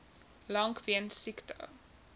lank weens siekte